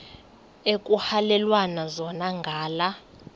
ekuhhalelwana zona ngala